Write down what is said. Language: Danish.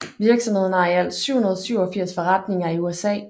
Virksomheden har i alt 787 forretninger i USA